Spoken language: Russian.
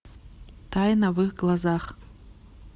тайна в их глазах